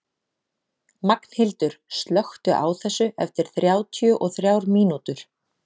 Magnhildur, slökktu á þessu eftir þrjátíu og þrjár mínútur.